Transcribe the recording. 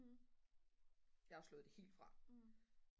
jeg har jo slået det helt fra